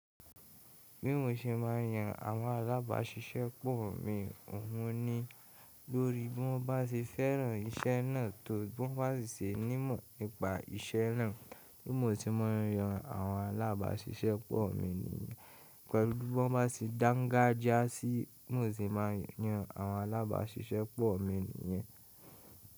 Bí mo ṣe máa yan àwọn alábàáṣiṣẹ́pọ̀ mi, òhun ni lórí bí wọ́n bá ṣe fẹ́ràn iṣẹ́ náà tó bí wọ́n bá ṣe ní ìmọ̀ nípa iṣẹ́ náà. Bí mo ṣe máa yan àwọn alábáṣiṣẹ́pọ̀ mi yii Pẹ̀lú bí wọ́n bá ṣe dàǹgájíá sí i, bí mo ṣe máa n yan àwọn alábàáṣiṣẹ́pọ̀ mi nìyẹn.